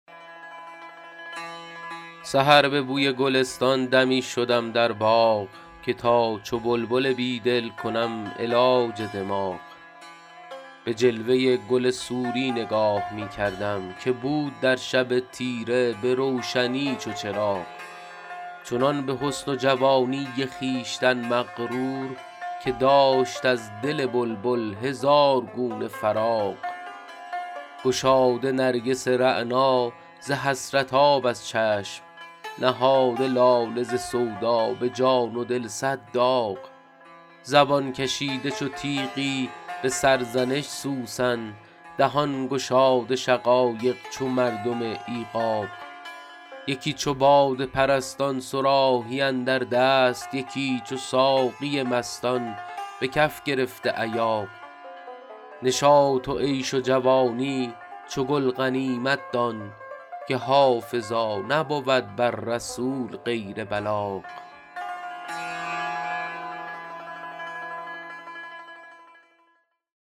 سحر به بوی گلستان دمی شدم در باغ که تا چو بلبل بیدل کنم علاج دماغ به جلوه گل سوری نگاه می کردم که بود در شب تیره به روشنی چو چراغ چنان به حسن و جوانی خویشتن مغرور که داشت از دل بلبل هزار گونه فراغ گشاده نرگس رعنا ز حسرت آب از چشم نهاده لاله ز سودا به جان و دل صد داغ زبان کشیده چو تیغی به سرزنش سوسن دهان گشاده شقایق چو مردم ایغاغ یکی چو باده پرستان صراحی اندر دست یکی چو ساقی مستان به کف گرفته ایاغ نشاط و عیش و جوانی چو گل غنیمت دان که حافظا نبود بر رسول غیر بلاغ